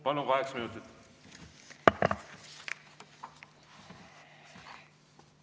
Palun, kaheksa minutit!